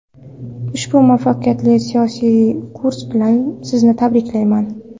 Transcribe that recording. Ushbu muvaffaqiyatli siyosiy kurs bilan Sizni tabriklayman.